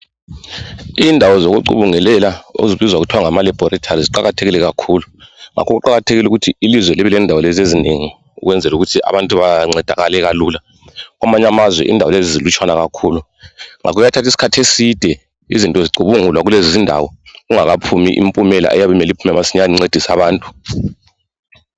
Indawo zokucubungulela ezibizwa ngokuthi ngama laboratory ziqakathekile kakhulu. Ngakho kuqakathekile ukuthi ilizwe libe lendawo lezi ezinengi ukwenzela ukuthi abantu bancedakale kalula. Kwamaanye amazwe zilutshwana kakhulu. Kuyathatha isikhathi eside izinti zicubungulwa kulezi ndawo kungakaphumi impumela okumele iphume masinyane bancedise abantu.